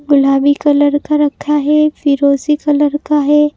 गुलाबी कलर का रखा है फिरोजी कलर का है।